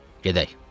Gedək."